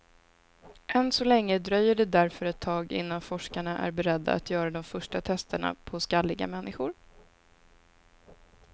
Än så länge dröjer det därför ett tag innan forskarna är beredda att göra de första testerna på skalliga människor.